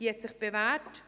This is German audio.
Diese hat sich bewährt.